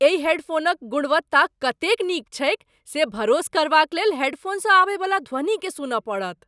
एहि हेडफोनक गुणवत्ता कतेक नीक छैक से भरोस करबाक लेल हेडफोनसँ आबयवला ध्वनिकेँ सुनय पड़त।